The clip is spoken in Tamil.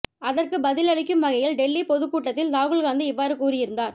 அதற்க்கு பதில் அளிக்கும் வகையில் டெல்லி பொதுக்கூட்டத்தில் ராகுல் காந்தி இவ்வாறு கூறியிருந்தார்